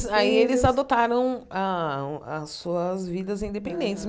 Sim, aí eles adotaram a as suas vidas independentes. Aham